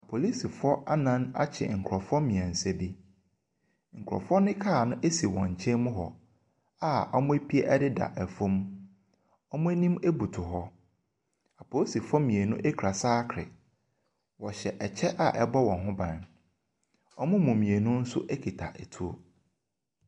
Polisifoɔ annan akye nkorɔfoɔ mmiɛnsa bi. Nkorɔfoɔ no car no esi wɔn nkyɛn mu hɔ a wɔpie ɛdeda ɛfam. Wɔn anim butu hɔ. Polisifoɔ mmienu ekura saakre. Ɔhyɛ ɛkyɛ a ɛbɔ wɔn ho ban. Wɔn mu mmiensu nso kuta etuo.